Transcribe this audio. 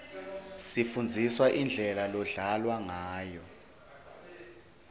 sifundziswa indlela lodlalwa ngayo